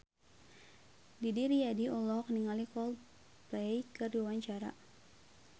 Didi Riyadi olohok ningali Coldplay keur diwawancara